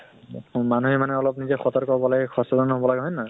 মানুহে মানে অলপ নিজে সতৰ্ক হব লাগে, সচেতন হব লাগে হয় নে নহয়?